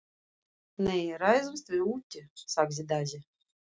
Nei, ræðumst við úti, sagði Daði.